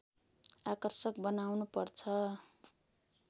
आकर्षक बनाउनु पर्छ